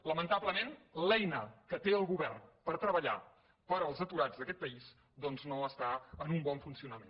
lamentablement l’eina que té el govern per tre·ballar pels aturats d’aquest país doncs no està en un bon funcionament